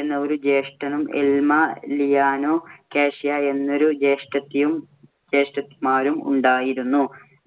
എന്ന ഒരു ജ്യേഷ്ഠനും, എൽമ, ലിലിയാനാ കാഷിയ എന്ന രണ്ടു ജ്യേഷ്ഠത്തിമാരും ഉണ്ടായിരുന്നു.